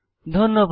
ধন্যবাদ